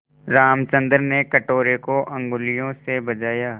रामचंद्र ने कटोरे को उँगलियों से बजाया